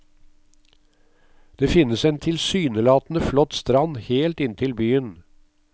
Det finnes en tilsynelatende flott strand helt inntil byen.